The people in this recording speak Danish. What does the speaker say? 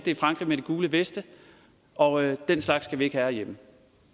i frankrig med de gule veste og den slags skal vi ikke have herhjemme